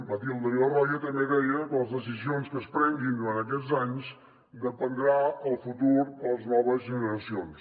matilde villarroya també deia que de les decisions que es prenguin durant aquests anys en dependrà el futur de les noves generacions